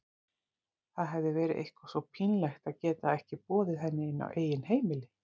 Það hefði verið eitthvað svo pínlegt að geta ekki boðið henni inn á eigið heimili.